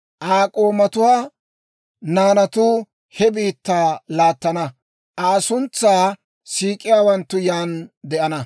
Aa k'oomatuwaa naanatuu he biittaa laattana; Aa suntsaa siik'iyaawanttu yaan de'ana.